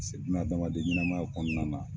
pase buna adamaden ɲɛnamaya kɔnɔna na